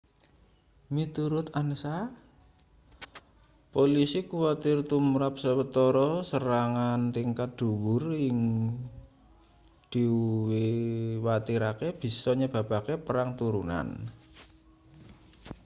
miturut ansa polisi kuwatir tumrap sawetara serangan tingkat dhuwur sing diuwatirke bisa nyebabake perang turunan